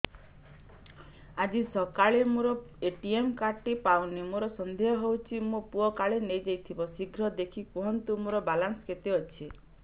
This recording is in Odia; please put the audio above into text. ଆଜି ସକାଳେ ମୋର ଏ.ଟି.ଏମ୍ କାର୍ଡ ଟି ପାଉନି ମୋର ସନ୍ଦେହ ହଉଚି ମୋ ପୁଅ କାଳେ ନେଇଯାଇଥିବ ଶୀଘ୍ର ଦେଖି କୁହନ୍ତୁ ମୋର ବାଲାନ୍ସ କେତେ ଅଛି